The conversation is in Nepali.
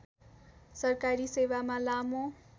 सरकारी सेवामा लामो